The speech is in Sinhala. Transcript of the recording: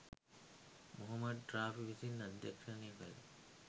මොහොමඩ් රාෆි විසින් අධ්‍යක්ෂණය කල